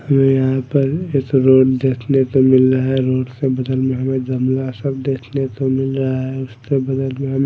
हमे यहां पर एक रोड देखने को मिल रहा रोड से बगल हमे जंगला सा देखने को मिल रहा है उसके बगल में हमें --